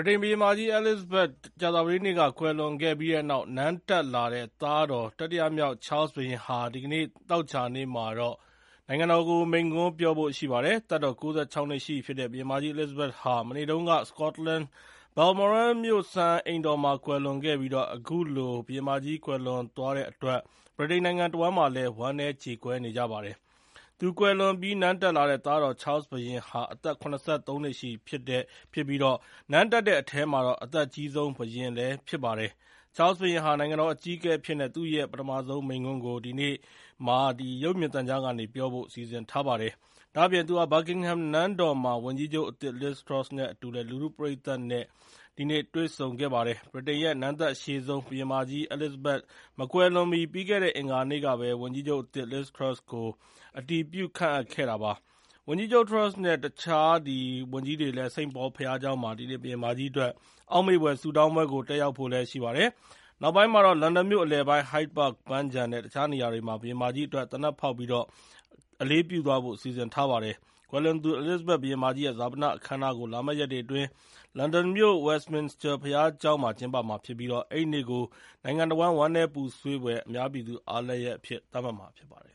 ြိတိန်ဘုရင်မကြီး အဲလစ်ဇဘက် ကြာသပတေးနေ့ကကွယ်လွန်ခဲ့ပြီးတဲ့နောက် နန်းတက်လာတဲ့သားတော် တတိယမြောက် Charles ဘုရင်ဟာ ဒီကနေ့ သောကြာနေ့မှာ နိုင်ငံကိုမိန့်ခွန်းပြောဖို့ရှိပါတယ်။ သက်တော် ၉၆ နှစ်ရှိပြီဖြစ်တဲ့ ဘုရင်မကြီးအဲလစ်ဇဘက်ဟာ မနေ့က စကော့တလန် မြို့ Balmoral စံအိမ်တော်မှာ ကွယ်လွန်ခဲ့ပြီး အခုလို ဘုရင်မကြီး ကွယ်လွန် သွားတဲ့အတွက် ဗြိတိန်နိုင်ငံတဝန်းမှာ ဝမ်းနည်းကြေကွဲနေကြပါတယ်။ သူကွယ်လွန်ပြီး နန်းတက်လာတဲ့သားတော် Charles ဘုရင်ဟာ အသက် ၇၃ နှစ်ရှိပြီဖြစ်ပြီး နန်းတက်တဲ့အထဲမှာ အသက်အကြီးဆုံးဘုရင်လည်းဖြစ်ပါတယ်။ Charles ဘုရင်ဟာ နိုင်ငံတော်အကြီးအကဲအဖြစ်နဲ့ သူ့ရဲ့ပထမဆုံးမိန့်ခွန်းကို သောကြာနေ့မှာ ရုပ်မြင်သံကြားကနေပြောကြားဖို့ စီစဉ်ထားတာပါ။ ဒါ့အပြင် သူဟာ Buckingham နန်းတော်မှာ ဝန်ကြီးချုပ်အသစ် LIz Truss နဲ့အတူ လူထုပရိသတ်နဲ့လည်း ဒီနေ့ တွေ့ဆုံဖို့ရှိပါတယ်။ ဗြိတိန်ရဲ့နန်းသက်အရှည်ဆုံး ဘုရင်မကြီး အဲလစ်ဇဘက်မကွယ်လွန်မီ ပြီးခဲ့တဲ့ အင်္ဂါနေ့ကပဲ ဝန်ကြီးချုပ်အသစ် LIz Truss ကို အတည်ပြုခန့်အပ်ခဲ့ပါတယ်။ ဝန်ကြီးချုပ် Truss နဲ့ တခြားဝန်ကြီးတွေလည်း St. Paul ဘုရားကျောင်းမှာ ဒီနေ့ ဘုရင်မကြီးအတွက် အောက်မေ့ဖွယ်ဆုတောင်းပွဲကို တက်ရောက်ဖို့လည်း ရှိပါတယ်။ နောက်ပိုင်းမှာတော့ လန်ဒန်မြို့အလယ်ပိုင်း Hyde Park ပန်းခြံနဲ့ တခြားနေ ရာတွေမှာ ဘုရင်မကြီးအတွက် သေနတ်ဖောက် အလေးပြုဖို့ စီစဉ်ထားပါတယ်။ ကွယ်လွန်သူအဲလစ်ဇဘက် ဘုရင်မကြီးရဲ့ ဈာပနအခမ်းအနားကို လာမယ့်ရက်တွေအတွင်း လန်ဒန်မြို့ Westminster ဘုရားကျောင်းမှာ ကျင်းပမှာဖြစ်ပြီး အဲဒီနေ့ ကို နိုင်ငံတဝန်း ဝမ်းနည်းပူဆွေးဖွယ် အများပြည်သူ အားလပ်ရက်အဖြစ် သတ်မှတ်မှာဖြစ်ပါတယ်